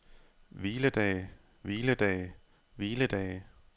hviledage hviledage hviledage